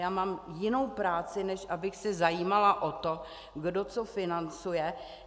Já mám jinou práci, než abych se zajímala o to, kdo co financuje.